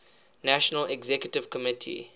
national executive committee